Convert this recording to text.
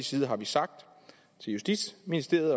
side sagt til justitsministeriet